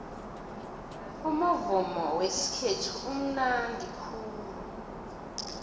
umuvumo wesikhethu umunandi khulu